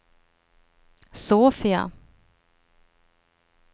Sofia